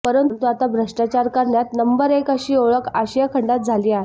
परंतु आता भ्रष्टाचार करण्यात नंबर एक अशी आेळख आशियाखंडात झाली आहे